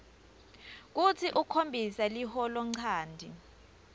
kutsi ukhombise liholonchanti